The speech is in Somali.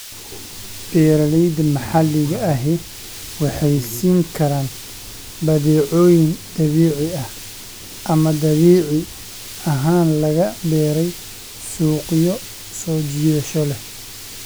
Beeralayda maxalliga ahi waxay siin karaan badeecooyin dabiici ah ama dabiici ahaan laga beeray suuqyo soo jiidasho leh.